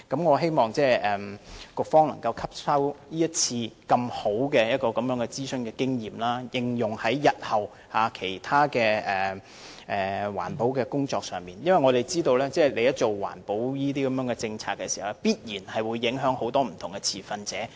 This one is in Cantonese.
我希望局方能夠吸收這次這麼好的諮詢經驗，應用在日後其他環保工作上，因為政府制訂的環保政策必然會影響很多不同的持份者。